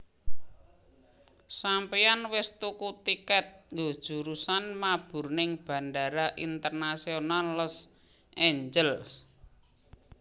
Sampeyan wis tuku tiket nggo jurusan mabur ning Bandara Internasional Los Angeles?